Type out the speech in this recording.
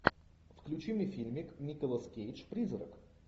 включи мне фильмик николас кейдж призрак